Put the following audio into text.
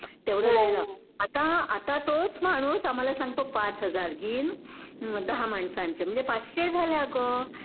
तेवढाच जायला. आता आता तोच माणूस आम्हाला सांगतो पाच हजार घिन दहा माणसांचे म्हणजे पाचशे झाले अगं